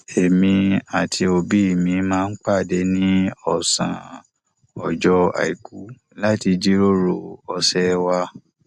èmi àti òbí mi máa ń pàdé ní ọsán ọjọ àìkú láti jíròrò ọsẹ wa